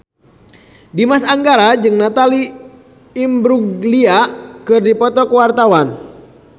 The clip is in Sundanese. Dimas Anggara jeung Natalie Imbruglia keur dipoto ku wartawan